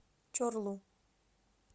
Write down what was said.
чорлу